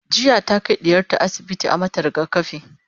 jiya ta Kai ɗiyarta asibiti a mata rigakafi